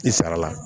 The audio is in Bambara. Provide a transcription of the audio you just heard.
I sara la